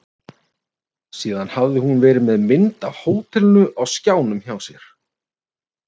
Síðan hafði hún verið með mynd af hótelinu á skjánum hjá sér.